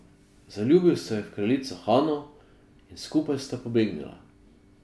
Zaljubil se je v kraljico Hano in skupaj sta pobegnila.